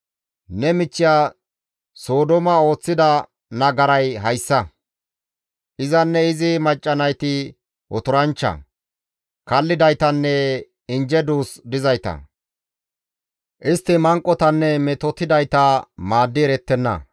Ne michchiya Sodooma ooththida nagaray hayssa: izanne izi macca nayti otoranchcha, kallidaytanne injje duus dizayta; istti manqotanne metotettidayta maaddi erettenna.